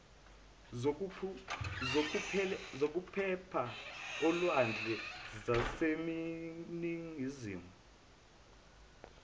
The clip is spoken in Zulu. zokuphepha olwandle zaseningizimu